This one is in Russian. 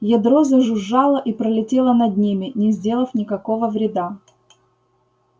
ядро зажужжало и пролетело над ними не сделав никакого вреда